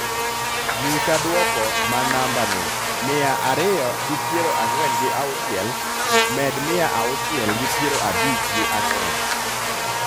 Nyisa duoko ma namba ni mia ariyo gi piero ang'wen gi auchiel, med mia auchiel gi piero abich gi ang'wen